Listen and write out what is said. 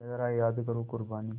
ज़रा याद करो क़ुरबानी